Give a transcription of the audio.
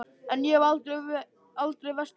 En ég hef aldrei vestur komið.